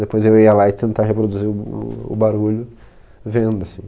Depois eu ia lá e tentar reproduzir o barulho vendo, assim.